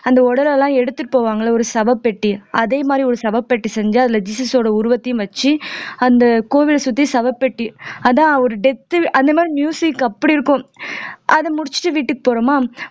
அந்த உடலெல்லாம் எடுத்துட்டு போவாங்கல்ல ஒரு சவப்பெட்டி அதே மாதிரி ஒரு சவப்பெட்டி செஞ்சு அதுல ஜீசஸ்சோட உருவத்தையும் வச்சு அந்த கோவிலை சுத்தி சவப்பெட்டி அதா ஒரு death அந்த மாதிரி music அப்படி இருக்கும் அது முடிச்சிட்டு வீட்டுக்கு போறோமா